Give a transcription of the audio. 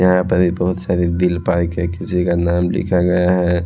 यहां पर बहोत सारी दिल किसी का नाम लिखा गया है।